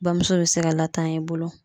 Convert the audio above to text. Bamuso be se ka latanya i bolo